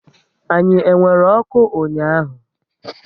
Anyi e nwere ọkụ ụnyaahụ?